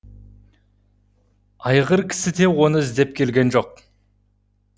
айғыркісі де оны іздеп келген жоқ